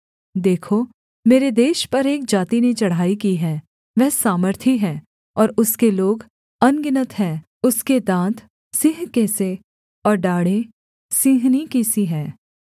देखो मेरे देश पर एक जाति ने चढ़ाई की है वह सामर्थी है और उसके लोग अनगिनत हैं उसके दाँत सिंह के से और डाढ़ें सिंहनी की सी हैं